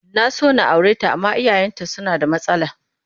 Na so na aure ta amma iyayenta suna da matsala